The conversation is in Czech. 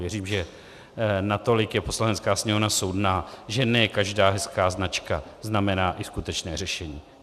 Věřím, že natolik je Poslanecká sněmovna soudná, že ne každá hezká značka znamená i skutečné řešení.